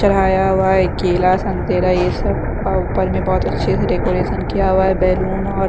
चढ़ाया हुआ है केला संतरा ये सब अह ऊपर में बहुत अच्छे से डेकोरेशन किया हुआ है बैलून और--